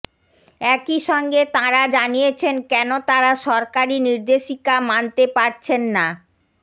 একই সঙ্গে তাঁরা জানিয়েছেন কেন তাঁরা সরকারি নির্দেশিকা মানতে পারছেন না